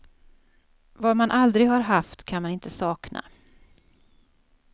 Vad man aldrig har haft kan man inte sakna.